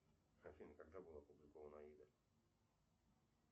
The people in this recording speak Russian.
афина когда была опубликована аида